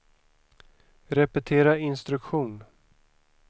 repetera instruktion